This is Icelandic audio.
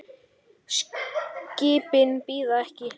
Skipin bíða ekki.